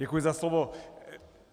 Děkuji za slovo.